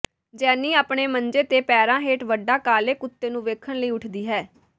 ਜੈਨੀ ਆਪਣੇ ਮੰਜੇ ਦੇ ਪੈਰਾਂ ਹੇਠ ਵੱਡਾ ਕਾਲੇ ਕੁੱਤੇ ਨੂੰ ਵੇਖਣ ਲਈ ਉੱਠਦੀ ਹੈ